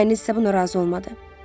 Dayınız isə buna razı olmadı.